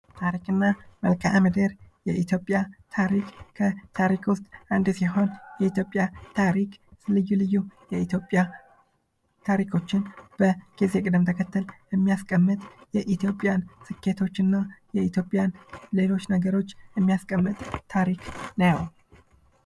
ታሪክና መልካም ምድር የኢትዮጵያ ታሪክ ከታሪክ ውስጥ አንዱ ሲሆን የኢትዮጵያ ታሪክ ልዩ ልዩ የኢትዮጵያ ታሪኮችን በጊዜ ቀደም ተከተል የሚያስቀምጥ የኢትዮጵያን ስኬቶችና የኢትዮጵያን ሌሎች ነገሮች የሚያስቀምጥ ታሪክ ነው ::